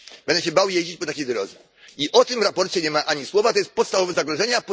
Będę się bał jeździć po takiej drodze i o tym w sprawozdaniu nie ma ani słowa, a to jest podstawowe zagrożenie.